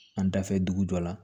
An dafɛ dugu jɔ la